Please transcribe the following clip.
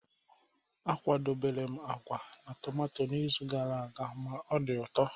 A kwadebere m agwa na tomato n'izu gara aga ma ọ dị ụtọ.